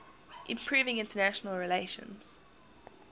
improving international relations